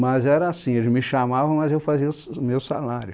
Mas era assim, eles me chamavam, mas eu fazia o s o meu salário.